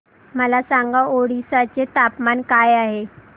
मला सांगा ओडिशा चे तापमान काय आहे